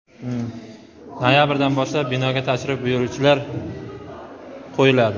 Noyabrdan boshlab binoga tashrif buyuruvchilar qo‘yiladi.